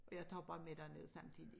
Og jeg tager bare med derned samtidig